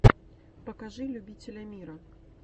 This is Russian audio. покажи любителямира